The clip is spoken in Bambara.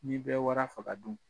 N'i bɛ wara faga dun?